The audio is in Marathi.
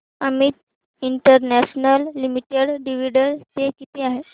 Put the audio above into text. Amit international limited dividend pay किती आहे